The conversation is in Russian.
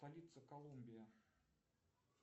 столица колумбия